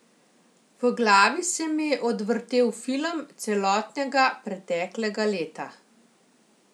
V glavi se mi je odvrtel film celotnega preteklega leta.